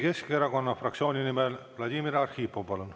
Eesti Keskerakonna fraktsiooni nimel Vladimir Arhipov, palun!